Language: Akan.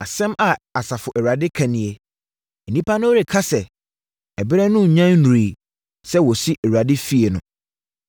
Asɛm a Asafo Awurade ka nie: “Nnipa no reka sɛ, ‘Ɛberɛ no nnya nnuruiɛ sɛ wɔsi Awurade fie no.’ ”